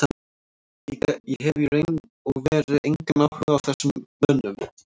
Ég hef í raun og veru engan áhuga á þessum mönnum.